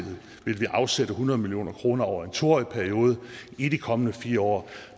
afsætte hundrede million kroner over en to årig periode i de kommende fire år